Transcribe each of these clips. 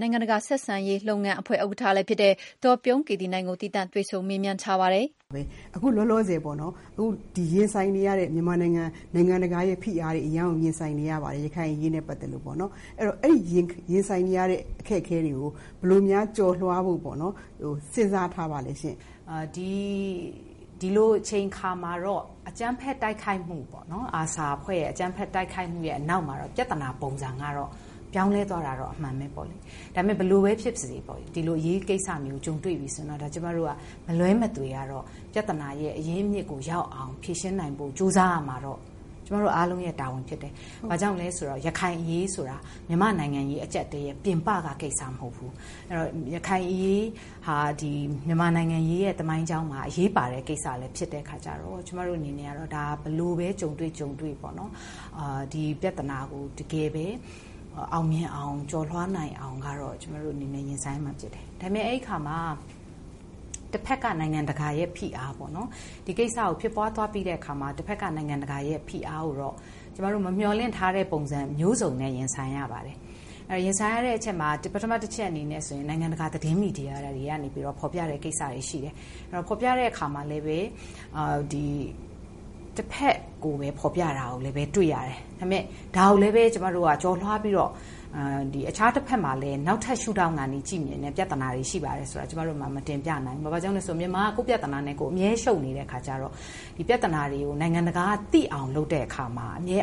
နိုင်ငံတကာဆက်ဆံရေးလုပ်ငန်းအဖွဲမှာ ဥက္ကဋ္ဌလုပ်နေရတော့ တကယ့် ကို ကြီးလေးတဲ့ တာဝန်တွေပါပဲ။ အခု လောလောဆယ် မြန်မာနိုင်ငံရင်ဆိုင်နေရတဲ့ နိုင်ငံတကာဖိအားတွေ ရခိုင်အရေးနဲ့ ပတ်သက်ပြီး ရင်ဆိုင်နေရပါတယ်။ အဲဒီရင် ဆိုင်နေရတဲ့ အခက်အခဲတွေကို ဘယ်လိုကျော်လွှားဖို့ စဉ်းစားထား ပါလဲရှင့်။ ဒီလိုအချိန်အခါမှာတော့ ARSA အဖွဲ့ အကြမ်းဖက်တိုက်ခိုက်မှုရဲ့နောက်မှာ ပြဿနာ ပုံစက ပြောင်းလဲသွားတာ တော့ အမှန်ပါပဲ။ ဒါပေမယ့် ဘယ်လိုဖြစ်ပါစေ။ ဒီလို အရေးကိစ္စမျိုး ကြုံတွေ့လာပြီဆိုရင်တော့ ကျမတို့တွေက မလွဲမသွေ ပြဿနာ အရင်း အမြစ်ကို ရောက်အောင် ဖြေရှင်းနိုင်ဖို့ ကြိုးစားရမှာတော့ ကျမတို့အားလုံးရဲ့ တာဝန်ဖြစ် တယ်။ ဘာကြောင့်လဲဆိုတော့ ရခိုင်အရေးဆိုတာ မြန်မာနိုင်ငံရေး အကျပ် အတည်းရဲ့ ပြင်ပကကိစ္စမဟုတ်ဘူး။ ရခိုင်အရေးဟာ မြန်မာနိုင်ငံရေးရဲ့ သမိုင်းကြောင်းမှာ အရေးပါတဲ့ ကိစ္စလည်းဖြစ်တဲ့အခါကျတော့ ကျမတို့အနေနဲ့ ဘယ်လိုပဲ ကြုံတွေ့ကြုံတွေ့ ဒီပြဿနာကို တကယ်ပဲ အောင်မြင် ကျော်လွှားနိုင်အောင် ရင်ဆိုင်ရမှာ ဖြစ်တယ်။ ဒါပေမယ့် အဲဒီ အခါမှာ တဘက်က နိုင်ငံတကာရဲ့ ဖိအားပေါ့ နော်။ ဒီကိစ္စဖြစ်သွားတဲ့အခါ တဘက်က နိုင်ငံ တကာရဲ့ဖိအားကို ကျမတို့ မမျှော်လင့်ထားတဲ့ ပုံစံမျိုးစုံနဲ့ ရင်ဆိုင်ရပါတယ်။ ရင်ဆိုင်ရတဲ့ အချက်မှာ ပထမအချက်အနေနဲ့ နိုင်ငံတကာ သတင်းမီဒီယာတွေကနေ ဖော်ပြတဲ့ အချက်ရှိတယ်။ ဖော်ပြတာမှာလည်း တဘက်ကိုပဲ ဖော်ပြတာတွေ့ရတယ်။ ဒါကိုလည်း ကျမတို့က ကျော်လွှားပြီးတော့ အခြားတဘက်မှာလည်း နောက်ထပ် ရှုထောင့်ကနေ ကြည့်နိုင်တဲ့ ပြဿနာတွေရှိတယ်ဆိုတာကို ကျမတို့ မတင်ပြနိုင်ဘူး။ ဘာဖြစ်လို့လဲဆိုတော့ မြန်မာက ကိုယ့်ပြဿနာတွေနဲ့အမြဲရှုပ်နေတဲ့အခါကျတော့ ဒီပြဿနာတွေကို နိုင်ငံတကာက သိအောင်လုပ်တဲ့အခါမှာ အမြဲ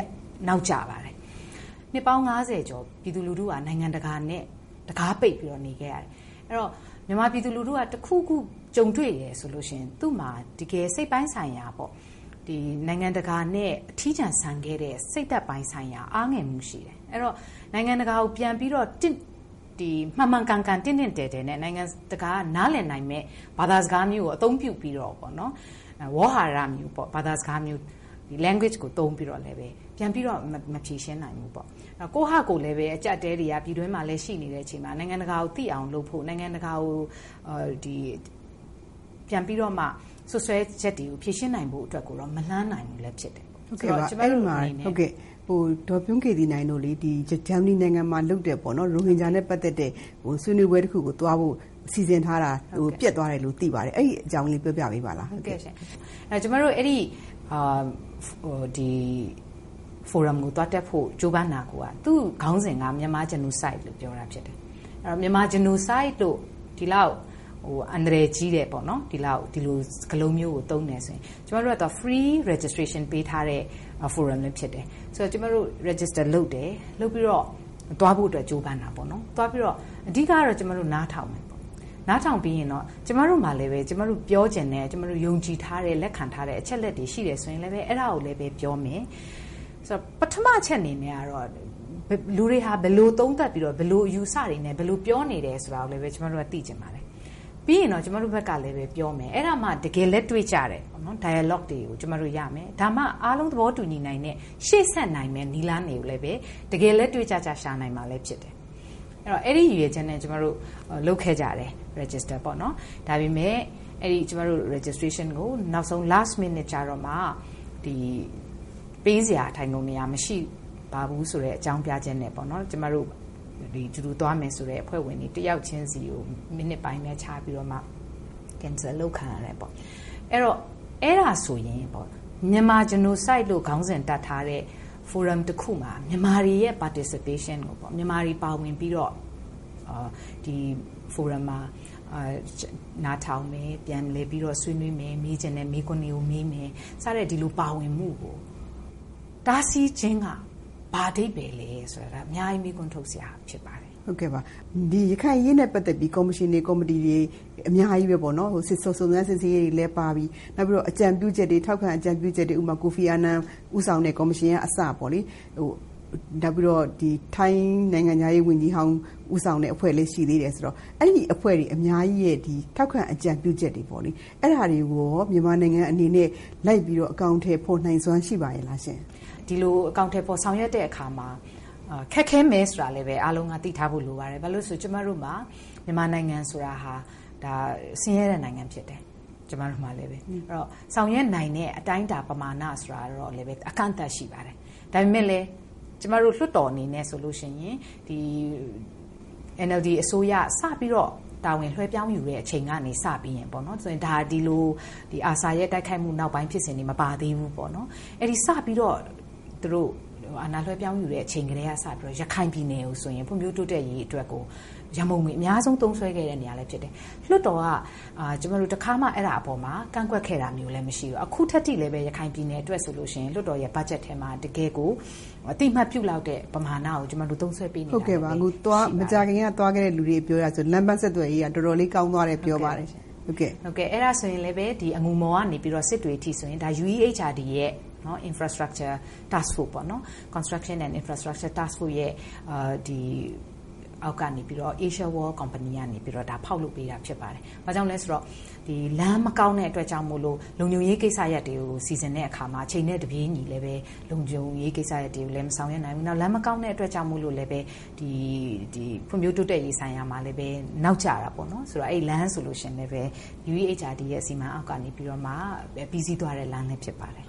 နောက်ကျပါတယ်။ နှစ်ပေါင်း ၅၀ ကျော် ပြည်သူလူထုက နိုင်ငံတကာနဲ့ တံခါးပိတ်ပြီးနေခဲ့ရတယ်။ အဲတော့ မြန်မာ ပြည်သူလူထုက တခုခုကြုံတွေ့တယ်ဆိုရင်သူ့မှာ စိတ်ပိုင်းဆိုင်ရာပေါ့ -နိုင်ငံတကာ နဲ့ အထီးကျန် ဆန်ခဲ့တဲ့ စိတ်ဓါတ်ပိုင်း ဆိုင်ရာ အားငယ်မှုရှိတယ်။ အဲတော့ နိုင်ငံတကာကို ပြန်ပြီးတော့ မှန်မှန်ကန်ကန်တင့်တင့်တယ်တယ်နဲ့ နိုင်ငံတကာက နားလည်နိုင်မယ့် အသုံးပြုပြီး တော့ - ဝေါဟာရမျိုးပေါ့၊ language ကိုသုံးပြီးတော့ ပြန်ပြီးတော့ မဖြေရှင်းနိုင်ဘူးပေါ့။ ကိုယ့်ဟာကိုယ်လည်း ပြည်တွင်းမှာ အကျပ်အတည်းရှိနေချိန်မှာ နိုင်ငံတကာကို ပြန်ပြီးတော့မှ စွပ်စွဲချက်တွေ ဖြေရှင်းနိုင်ဖို့ မလှမ်းနိုင်ဘူးလည်း ဖြစ်နေတယ်။ အဲဒီတော့ ဒေါ်ပြုံးကေသီနိုင်တို့ ဂျာမနီနိုင်ငံမှာလုပ်တဲ့ ရိုဟင်ဂျာနဲ့ပတ်သက်တဲ့ပွဲကို သွားဖို့ စီစဉ်ထားတာ ပျက်သွားတယ်လို့သိပါတယ်။ အဲဒီ အကြောင်းလေးပြောပြပေး ပါလား။ ကျမတို့ အဲဒီ ဖိုရမ်ကိုသွားတက်ဖို့ ကြိုးပမ်းတာကိုက - သူ့ခေါင်းစဉ်မှာကိုက Myanmar Genocide လို့ ပြောထားတာဖြစ်တယ်။ Myanmar Genocide လို့ ဒီလောက်အန္တရာယ်ကြီးတဲ့ ဒီစကားလုံးမျိုးကို သုံးတယ် ဆိုရင် ကျမတို့က Free Registration ပေးထားတဲ့ ဖိုရမ်လည်းဖြစ်တယ်။ ကျမတို့ Register လုပ်တယ်။ လုပ်ပြီးတော့ သွားဖို့အတွက်ကြိုးပမ်းတယ်။ အဓိကကတော့ ကျမ တို့ နားထောင်မယ်။ နားထောင်ပြီးရင် ကျမတို့မှာလည်းပဲ ကျမတို့ပြောချင်တဲ့၊ ယုံကြည်ထားတဲ့၊ လက်ခံထားတဲ့ အချက်အလက်တွေရှိတယ် ဆိုရင်လည်းပဲ အဲဒါကိုလည်း ပြောမယ်။ ပထမအချက်အနေနဲ့ ကတော့ လူတွေဟာ ဘယ်လိုတွေ သုံးသပ်ပြီး တော့ ဘယ်လိုအယူအဆတွေနဲ့ ပြောနေ သလဲ ဆိုတာကိုပေါ့လေ သိချင်တယ်။ ပြီးရင်တော့ ကျမတို့ဘက် ကလည်း ပြောမယ်။ အဲဒါမှ တကယ်လက်တွေ့ ကျတဲ့ Dialogue တွေရမယ်။ ဒါမှ အားလုံးသဘော တူညီနိုင်တဲ့ ရှေ့ဆက်နိုင်မယ့် နည်းလမ်းတွေကို တကယ် လက်တွေ့ကျကျ ရှာနိုင်မှာလည်း ဖြစ်တယ်။ အဲဒီ ရည်ရွယ်ချက်နဲ့ ကျမတို့လုပ်ခဲ့ကြတယ်။ Register ပေါ့နော်၊ ဒါပေမယ့် ကျမတို့ Registration ကို နောက်ဆုံး Last minute ကျမှ ပေးစရာထိုင်ခုံနေရာ မရှိပါဘူ-ဆိုတဲ့ အကြောင်းပြချက်နဲ့ ကျမတို့ အတူတူ သွားမယ်ဆိုတဲ့ အဖွဲ့ဝင်တွေ တယောက်ချင်းဆီကို မိနစ်ပိုင်းပဲခြားပြီးမှ cancel အလုပ်ခံရတယ်ပေါ့။ အဲဒါဆိုရင် Myanmar Genocide လို့ခေါင်းစဉ်တပ်ထားတဲ့ ဖိုရမ်တခုမှာ မြန်မာတွေရဲ့ participation ပေါ့။ မြန်မာတွေပါဝင်ပြီးတော့ ဒီဖိုရမ်မှာ နားထောင်မယ်၊ ဆွေးနွေးမယ်၊ မေးချင်တဲ့မေးခွန်းတွေမေးတယ်။ စတဲ့ဒီလို ပါဝင်မှုကို တားဆီးခြင်းက ဘာအဓိပ္ဗါယ်လဲဆိုတာအများကြီးမေးခွန်းထုတ်စရာ ဖြစ်ပါတယ်။ ရခိုင်အရေးနဲ့ပတ်သက်ပြီးတော့ ကော်မရှင်တွေ၊ ကော်မတီတွေ အများကြီးပေါ့။ စုံစမ်းစစ်ဆေးရေး တွေ လည်း ပါပြီ။ ထောက်ခံအကြံပြုချက်တွေ ဥပမာ ကိုဖီအာနန် ဦးဆောင်တဲ့ ကော်မရှင်ကအစပေါ့လေ- နောက် ထိုင်းနိုင်ငံခြားရေးဝန်ကြီးဟောင်း ဦးဆောင်တဲ့ အဖွဲ့လည်းရှိသေးတယ်ဆိုတော့၊ အဲဒီအဖွဲ့တွေ အများကြီးရဲ့ ထောက်ခံ အကြံပြုချက်တွေပေါ့လေ၊ အဲဒါတွေကိုရော မြန်မာနိုင်ငံအနေနဲ့ လိုက်ပြီးတော့ အကောင်အထည် ဖော်နိုင်စွမ်း ရှိပါရဲ့လား ရှင့်။ ဒီလိုဆောင်ရွက်တဲ့နေရာမှာ ခက်ခဲမယ်ဆိုတာ အားလုံးသိထားဖို့လိုပါတယ်။ ဘာလို့လဲဆိုရင် ကျမတို့ မှာ မြန်မာနိုင်ငံဆိုတာဟာ ဆင်းရဲတဲ့နိုင်ငံဖြစ်တယ်။ ဆောင်ရွက်နိုင်တဲ့ အတိုင်းအတာပမာဏ ဆိုတာကလည်း အကန့်အသတ်ရှိပါတယ်။ ဒါပေမယ့်လည်း ကျမတို့လွှတ်တော်အနေနဲ့ဆိုရင် ဒီ NLD အစိုးရ စပြီးတော့ တာဝန် လွှဲယူချိန်ကနေစပြီးတော့ ASRA ရဲ့ တိုက်ခိုက်မှုဖြစ်စဉ်မပါသေးဘူးပေါ့နော်။ စပြီးတော့ အာဏာလွှဲယူချိန် ကတည်းက ရခိုင်ပြည်နယ်ကို ဖွံ့ဖြိုးတိုးတက်ရေးအတွက်ကို ရန်ပုံငွေ အများဆုံးသုံးခဲ့တဲ့ နေရာလည်း ဖြစ်တယ်။ လွှတ်တော် က တခါမှ အဲဒီအပေါ်မှာ ကန့်ကွက်ခဲ့တာမျိုးမရှိဘူး။ ခုထက်ထိလည်း ရခိုင်အတွက်ဆိုရင် လွှတ်တော်ရဲ့ ဘတ်ဂျက်ထဲ မှာ တကယ်ကို အသိအမှတ်ပြုတဲ့ ပမာဏကိုသုံးစွဲပေးနေတာ ဖြစ်ပါတယ်။ ဟုတ်ကဲ့ပါ။ မကြာခင်က သွားတဲ့လူတွေအပြောအရဆို လမ်းပန်းဆက်သွယ်ရေး တော်တော်လေး ကောင်းတယ်ပြောပါတယ်။ အဲဒါဆိုရင်လည်းပဲ အငူမော်ကနေ စစ်တွေအထိဆိုရင် UEHRD ရဲ့ Infrastructure Task force ပေါ့နော်၊ Construction and Infrastructure Task force ရဲ့အောက်ကနေ Asia World ကုမ္ဗဏီကနေ ဒါဖောက်လုပ်ပေးတာဖြစ်ပါတယ်။ ဘာကြောင့်လဲဆိုတော့ ဒီ လမ်း မကောင်းတဲ့အတွက်ကြောင့်မို့ လုံခြုံရေးကိစ္စရပ်တွေကို စီစဉ်တာမှာ အချိန်နဲ့တပြေးညီ လုံခြုံရေးကိစ္စတွေ မဆောင်ရွက်နိုင်ဘူး။ နောက် လမ်းမကောင်းတဲ့ အတွက်ကြောင့် မို့လို့လည်း ဖွံ့ဖြိုးတိုးတက်ရေးပိုင်းဆိုင်ရာမှာလည်း နောက်ကျတာပေါ့နော်။ ဆိုတော့ အဲဒီ လမ်းဆိုလို့ရှိရင်လည်းပဲ UEHRD စီမံမှုအောက်က ပြီးစီးသွားတဲ့လမ်းလည်းဖြစ်ပါတယ်။